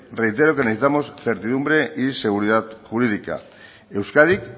reitero que necesitamos certidumbre y seguridad jurídica euskadik